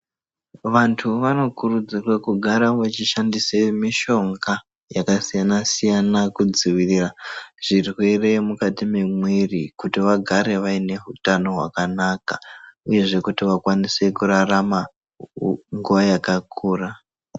Vantu vanokurudzirwe kugara vechishandise mitombo yakasiyana-siyana, kudzivirira zvirwere mukati memwiiri, kuti vagare vaine hutano hwakanaka, uyezve kuti vakwanise kurarama nguwa yakakura.